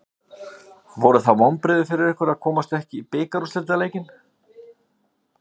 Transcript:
Voru það vonbrigði fyrir ykkur að komast ekki í bikarúrslitaleikinn?